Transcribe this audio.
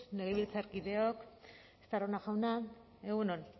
legebiltzarkideak estarrona jauna egun on